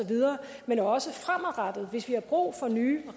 men også fremadrettet hvis vi har brug for nye